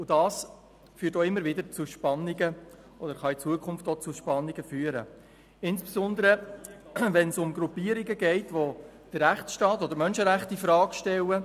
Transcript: Dies führt auch immer wieder zu Spannungen, oder es kann zukünftig auch zu Spannungen führen, insbesondere wenn es um Gruppierungen geht, welche den Rechtsstaat oder die Menschenrechte infrage stellen.